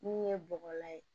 Min ye bɔgɔ la ye